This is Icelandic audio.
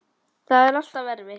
Það er alltaf erfitt.